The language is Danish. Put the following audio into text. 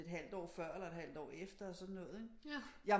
Et halvt år før eller et halvt år efter og sådan noget ikke